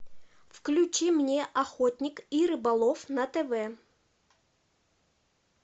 включи мне охотник и рыболов на тв